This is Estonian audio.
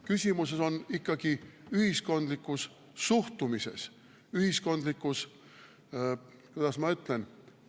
Küsimus on ikkagi ühiskondlikus suhtumises, ühiskondlikus – kuidas ma ütlen?